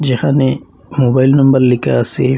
এখানে mobile number লিখা একটি দুকান রয়েছেআসে।